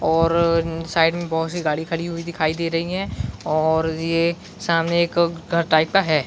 और साइड में बहोत सी गाड़ी खड़ी हुई दिखाई दे रही है और ये सामने एक घर टाइप का है।